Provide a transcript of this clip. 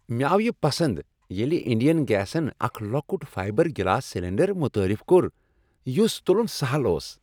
مےٚ آو یِہ پسند ییٚلہ انڈین گیسن اکھ لۄکٹ فائبر گلاس سلنڈر متعارف کوٚر یس تُلن سہل اوس۔